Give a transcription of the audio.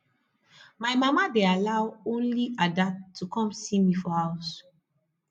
my mama dey allow only ada to come see me for house